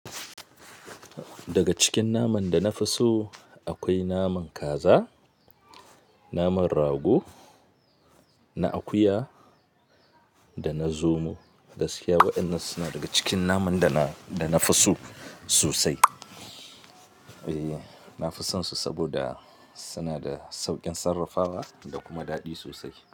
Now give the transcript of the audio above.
Daga cikin naman danafi so akwai naman kaza, naman rago na akuya dana zomo. Gaskiya waɗannan suna daga cikin naman da na, da na fi so sosai. E, nafi sonsu saboda sunada sauƙin sarrafawa da kuma daɗi sosai.